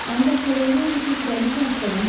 Ancaq kədərli odur ki, kraliçə astadan dedi.